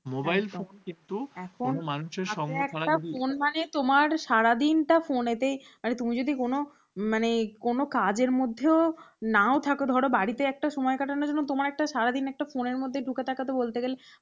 সারাদিনটা phone তে, মানে তুমি যদি কোন মানে কোনও কাজের মধ্যেও নাও থাক ধর বাড়িতে একটা সময় কাটানো তোমার সারাদিন একটা phone র মধ্যে ঢুকে থাকে তো বলতে গেলে,